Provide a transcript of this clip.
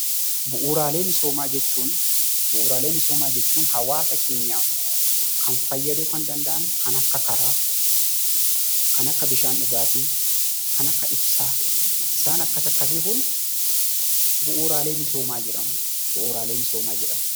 Bu'uuraalee misoomaa jechuun hawaasa kan fayyaduu danda'an kan akka karaa, kan akka bishaan dhugaatii, kan akka ibsaa, kan akkas akkasii kun bu'uuraalee misoomaa jedhamu.